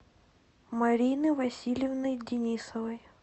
марины васильевны денисовой